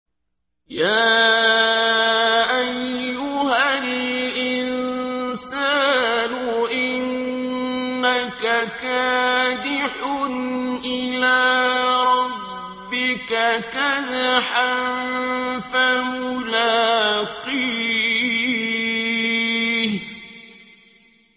يَا أَيُّهَا الْإِنسَانُ إِنَّكَ كَادِحٌ إِلَىٰ رَبِّكَ كَدْحًا فَمُلَاقِيهِ